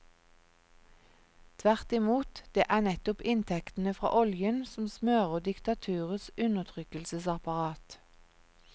Tvert imot, det er nettopp inntektene fra oljen som smører diktaturets undertrykkelsesapparat.